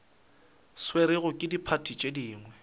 swerwego ke diphathi tše dingwe